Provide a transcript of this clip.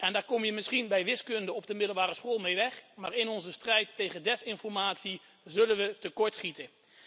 Daar kom je misschien bij wiskunde op de middelbare school mee weg, maar in onze strijd tegen desinformatie zullen we tekortschieten.